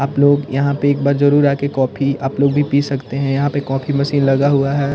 आप लोग यहाँ पे एक बार जरूर आ के कॉफ़ी आप लोग भी पी सकते हैं यहाँ पे कॉफ़ी मशीन लगा हुआ है।